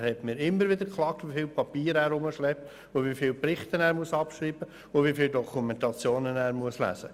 Er hat immer wieder darüber geklagt, wie viel Papier er mit sich herumschleppen muss, wie viele Berichte er erstellen und wie viele Dokumentationen er lesen muss.